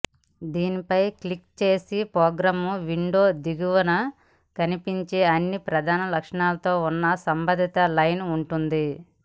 దానిపై క్లిక్ చేస్తే program window దిగువన కనిపించే అన్ని ప్రధాన లక్షణాలతో ఉన్న సంబంధిత లైన్ ఉంటుంది